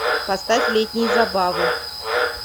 поставь летние забавы